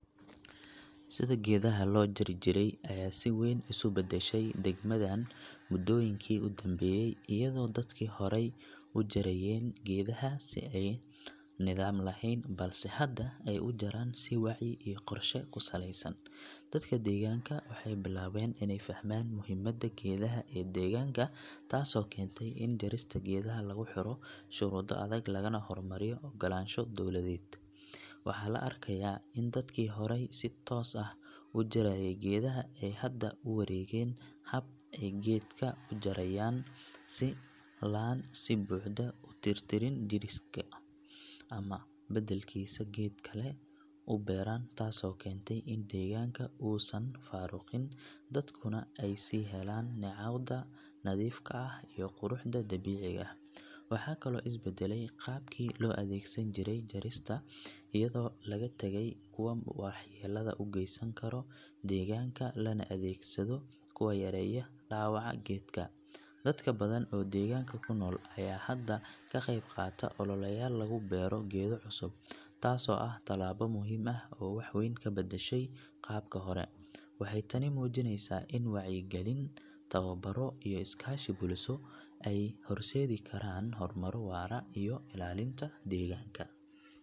Sida geedaha lojarijire aya si wen iskubadadhay degmadan mudoyinki udambeyey iyado dadki hore ujarayen geedaya si ay nidaam lehen, balse hada ay ujaraa si wacyi iyo qorsha kusaleysan, dadka deganka waxay bikabeen inay fahman muxiimada geedaha ee deganka taas oo kentau in jarista geedaha lagujiro sharudo aadag, lagana hormariyo ogolansha dowladed, waxa laarkaya in dadki hore si toos ah ujaraye geedaha ay hada uwaregeen habka ay gerfka ujarayaan si ay uwadaan si buxdo, loadegsan karee deganka iuago lagatagay in wahyelada ugeysankaro deganak lanaadegsado kuwa yaryar ,dadka nadan ee deganka kunol aya hada kagebgataa duleya lagubero geeda cusub, taas oo ah talabo muxiim ah oo waxbadan kabadadhay qabka, waxay taani mujinaysa in wayci galii tawabaroo iyo iskashi cusub ay horsedi karaan.